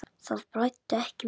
Það blæddi ekki mikið.